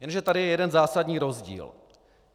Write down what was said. Jenže tady je jeden zásadní rozdíl.